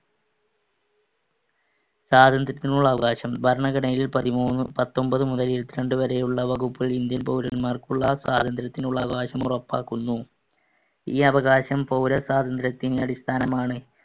സ്വാതന്ത്ര്യത്തിനുള്ള അവകാശം. ഭരണഘടനയിൽ പതിമൂന്ന്~ പത്തൊൻപതു മുതൽ ഇരുപത്തിരണ്ട് വരെയുള്ള വകുപ്പ് ഇന്ത്യൻ പൗരൻമാർക്കുള്ള സ്വാതന്ത്ര്യത്തിനുള്ള അവകാശം ഉറപ്പാക്കുന്നു. ഈ അവകാശം പൗരസ്വാതന്ത്ര്യത്തിന് അടിസ്ഥാനമാണ്.